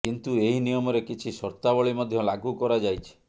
କିନ୍ତୁ ଏହି ନିୟମରେ କିଛି ସର୍ତ୍ତାବଳୀ ମଧ୍ୟ ଲାଗୁ କରାଯାଇଛି